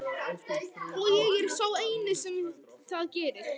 Og ég er sá eini sem það gerir.